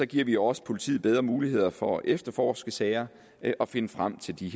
giver vi også politiet bedre muligheder for at efterforske sager og finde frem til de